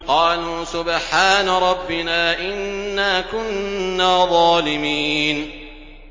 قَالُوا سُبْحَانَ رَبِّنَا إِنَّا كُنَّا ظَالِمِينَ